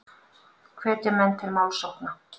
Hvetja menn til málsókna